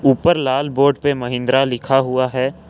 ऊपर लाल बोड पे महिंद्रा लिखा हुआ है।